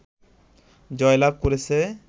জয়লাভ করেছে